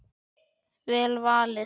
Vel valið.